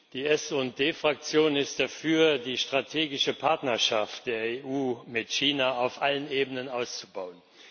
Die SD Fraktion ist dafür, die strategische Partnerschaft der EU mit China auf allen Ebenen auszubauen.